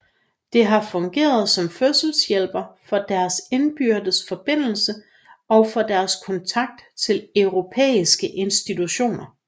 Det har fungeret som fødselshjælper for deres indbyrdes forbindelser og for deres kontakt til europæiske institutioner